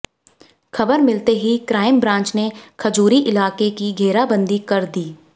ख़बर मिलते ही क्राइम ब्रांच ने खजूरी इलाके की घेराबंदी कर दी